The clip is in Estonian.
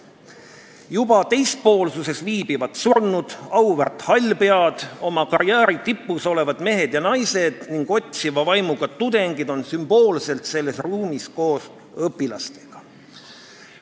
Juba teispoolsuses viibivad surnud, auväärt hallpead, oma karjääri tipus olevad mehed ja naised ning otsiva vaimuga tudengid on sümboolselt selles ruumis koos õpilastega.